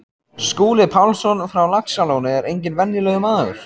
Skúli Pálsson frá Laxalóni er enginn venjulegur maður.